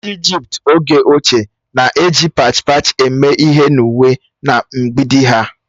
Ndị Ijipt oge ochie na-eji pach pach eme ihe n'uwe na mgbidi ha